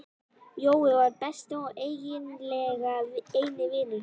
Jói var besti og eiginlega eini vinur hans.